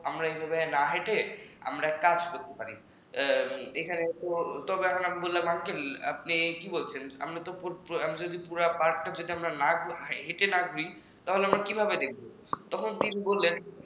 আমরা এভাবে না হেঁটে আমরা এক কাজ করি তবে আমরা বললাম uncle আপনি কি বলছেন পুরা পার্কটা যদি আমরা হেটে না ঘুরি তাহলে আমরা কিভাবে দেখব তখন তিনি বললেন